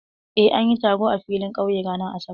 Eh, an yi taro a filin ƙauye ranar Asabar.